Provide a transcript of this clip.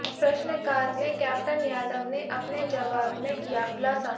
प्रश्नकाल में कैप्टन यादव ने अपने जवाब में किया खुलासा